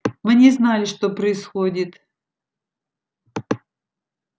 мы не знали что происходит